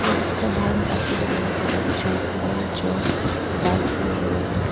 उसका बाहर में आदमी लोग बहुत ज्यादा है जो बाइक भी है।